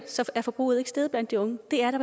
er forbruget ikke steget blandt de unge det er da